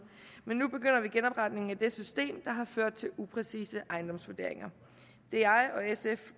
men nu begynder vi genopretningen af det system der har ført til upræcise ejendomsvurderinger det er jeg og sf